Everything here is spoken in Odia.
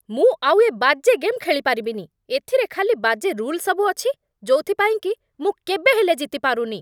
ମୁଁ ଆଉ ଏ ବାଜେ ଗେମ୍ ଖେଳିପାରିବିନି । ଏଥିରେ ଖାଲି ବାଜେ ରୁଲ୍ ସବୁ ଅଛି, ଯୋଉଥିପାଇଁ କି ମୁଁ କେବେହେଲେ ଜିତିପାରୁନି ।